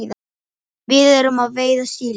Við erum að veiða síli.